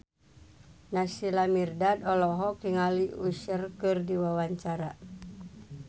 Naysila Mirdad olohok ningali Usher keur diwawancara